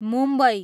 Mumbai